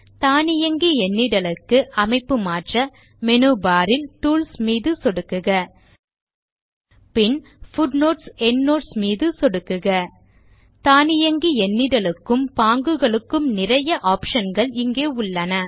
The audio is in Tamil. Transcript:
தானியங்கி எண்ணிடலுக்கு அமைப்பு மாற்ற மேனு பார் இல் டூல்ஸ் மீது சொடுக்குக பின் footnotesஎண்ட்னோட்ஸ் மீது சொடுக்குக தானியங்கி எண்ணிடலுக்கும் பாங்குகளுக்கும் நிறைய ஆப்ஷன் கள் இங்கே உள்ளன